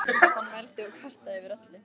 Hann vældi og kvartaði yfir öllu.